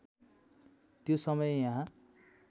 त्यो समय यहाँ